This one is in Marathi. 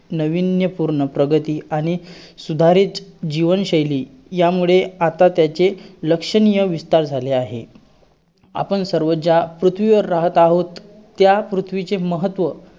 handsome पने आणि त्याचा आवाज पण खूप छान आहे.